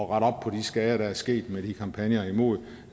rette op på de skader der er sket med kampagnerne imod